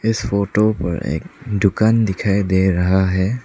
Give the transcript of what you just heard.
इस फोटो पर एक दुकान दिखाई दे रहा है।